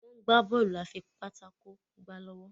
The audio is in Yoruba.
wón gbà Bọ́ọ̀lù afipátákó gbá lówó.